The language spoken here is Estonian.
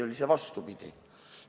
Või oli see vastupidi?